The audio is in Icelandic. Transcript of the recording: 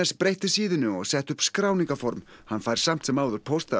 breytti síðunni og setti upp skráningarform hann fær samt sem áður pósta af